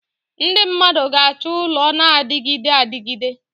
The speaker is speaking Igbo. Ndị mmadụ ga-achọ ụlọ na-adịgide adịgide.